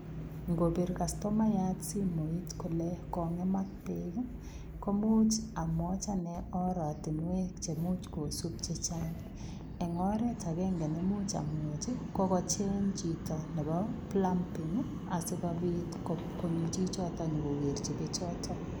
Ingobiit customayaat simoit kole kongemaak beek komuuch amwajii ane oratinweek cheimuuch kosuup chechaang en oret agenge neimuuch amwachi ko kocheeng chitoo nebo plumbing ii asikobiit konyoo chichotoon inyokoker bichotoo.